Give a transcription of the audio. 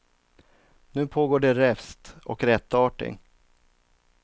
Nu pågår det räfst och rättarting.